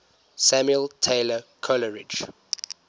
samuel taylor coleridge